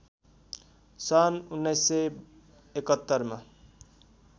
सन् १९७१ मा